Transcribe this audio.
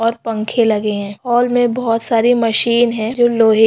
और पंखे लगे है हॉल मे बहुत सारे मशीन है। जो लोहे --